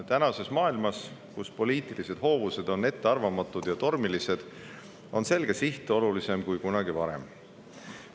Tänapäeva maailmas, kus poliitilised hoovused on ettearvamatud ja tormilised, on selge siht olulisem kui kunagi varem.